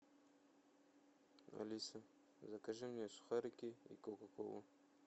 алиса закажи мне сухарики и кока колу